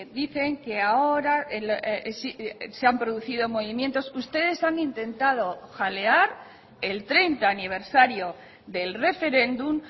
dicen que ahora se han producido movimientos ustedes han intentado jalear el treinta aniversario del referéndum